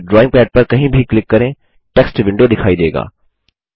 फिर drawing pad पर कहीं भी क्लिक करें टेक्स्ट विंडों दिखाई देगा